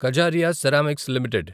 Kajaria ceramics limited